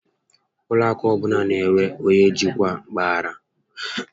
Ụlọ akụ ọbụla n'enwe onyé njikwa mpaghara